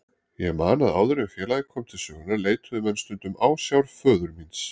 Ég man að áður en félagið kom til sögunnar leituðu menn stundum ásjár föður míns.